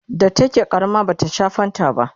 da take ƙarama bata Sha fanta ba